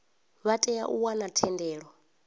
vha tea u wana thendelo